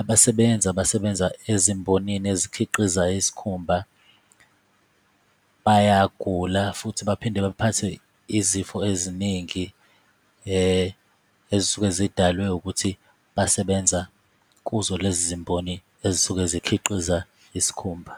abasebenzi abasebenza ezimbonini ezikhiqiza isikhumba, bayagula futhi baphinde baphathwe izifo eziningi ezisuke zidalwe ukuthi basebenza kuzo lezi zimboni ezisuke zikhiqiza isikhumba.